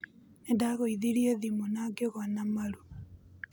Nĩ ndagũithirie thimũna ngĩgũa na maru